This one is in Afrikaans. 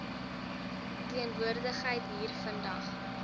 teenwoordigheid hier vandag